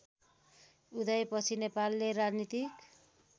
उदयपछि नेपालले राजनीतिक